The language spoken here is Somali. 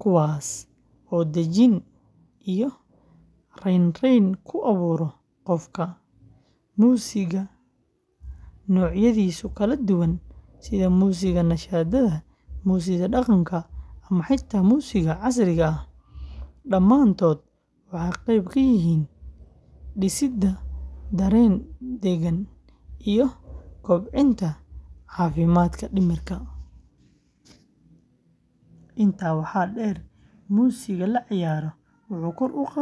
kuwaas oo dejin iyo raynrayn ku abuura qofka. Muusiga nuucyadiisa kala duwan sida muusiga nasashada, muusiga dhaqanka, ama xitaa muusiga casriga ah, dhammaantood waxay qayb ka yihiin dhisidda dareen degan iyo kobcinta caafimaadka dhimirka. Intaa waxaa dheer, muusiga la ciyaaro wuxuu kor u qaadaa diiradda.